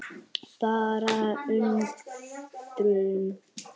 Bara undrun.